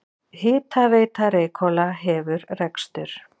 Hitaveita Reykhóla hefur rekstur.